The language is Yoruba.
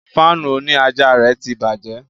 Fáànù òní àjà rẹ̀ tí bàjẹ́